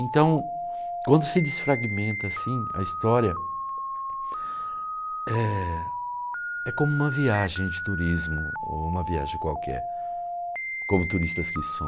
Então, quando se desfragmenta assim a história, eh é como uma viagem de turismo, ou uma viagem qualquer, como turistas que